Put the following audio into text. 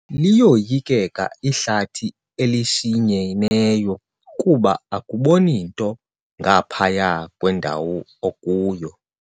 Liyoyikeka ihlathi elishinyeneyo kuba akuboni nto ngaphaya kwendawo okuyo.